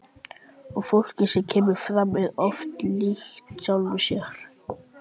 Og fólkið sem kemur fram er oft líkt sjálfu sér.